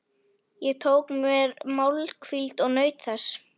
Ég tók mér málhvíld og naut þess.